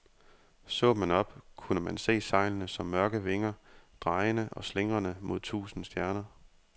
Så man op, kunne man se sejlene som mørke vinger, drejende og slingrende mod tusinde stjerner.